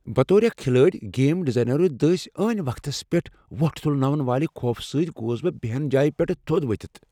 بطور اكھ کھلٲڑ، گیم ڈیزائنرو دٕسۍ عٲنہِ وقتس پیٹھ وۄٹھ تُلناون والہِ خوفہٕ سۭتۍ گوس بہٕ بہن جایہ پیٹھہٕ تھو٘د وتھِتھ ۔